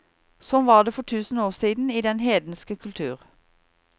Sånn var det for tusen år siden i den hedenske kultur.